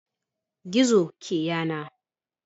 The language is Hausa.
Gizo ke yana.